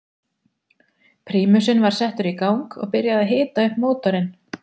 Prímusinn var settur í gang og byrjað að hita upp mótorinn.